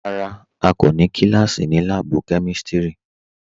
Rárá à kò ní kílásí ní láàbù kẹmísítí